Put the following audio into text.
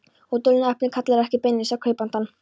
Og dulnefnið kallar ekki beinlínis á kaupandann.